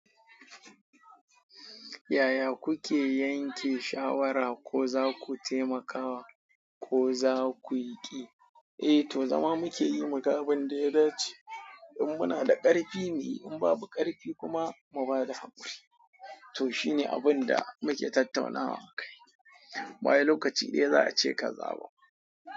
Yaya kuke yanke shawara ko za ku taimaka wa ko za ku yi ƙi? Eh to zama muke yi muga abin da ya dace, in muna da ƙarfi muyi, in babu ƙarfi kuma mu ba da hakuri. To shi ne abin da muke tattaunawa mu ka yi. Bayan lokaci dai za a ce ka zaɓa.